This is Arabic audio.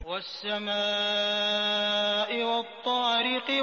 وَالسَّمَاءِ وَالطَّارِقِ